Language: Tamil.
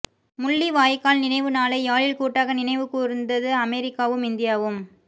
முள்ளிவாய்க்கால் நினைவு நாளை யாழில் கூட்டாக நினைவு கூர்ந்தது அமெரிக்காவும் இந்தியாவும்